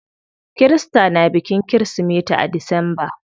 Kirista na bikin kirismeti a disamba.